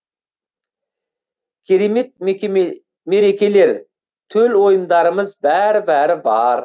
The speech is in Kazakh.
керемет мерекелер төл ойындарымыз бәрі бәрі бар